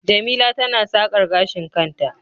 jemila tana sakar gashin kanta